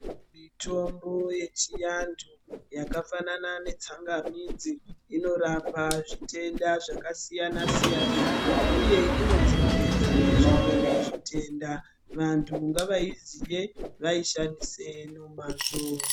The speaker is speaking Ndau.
Mitombo yechiantu yakafanana netsangamidzi inorapa zvitenda zvakasiyana siyana uye inodzivirirawo zvimweni zvitenda. Vantu ngavaziye ngatiishandise nomazvo